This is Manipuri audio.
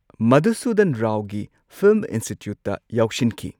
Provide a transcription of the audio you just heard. ꯃꯙꯨꯁꯨꯙꯟ ꯔꯥꯎꯒꯤ ꯐꯤꯜꯝ ꯏꯟꯁꯇꯤꯇ꯭ꯌꯨꯠꯇ ꯌꯥꯎꯁꯤꯟꯈꯤ꯫